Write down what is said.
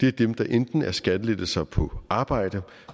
er dem der enten er skattelettelser på arbejde